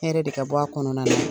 Hɛrɛ de ka bɔ a kɔnɔna na.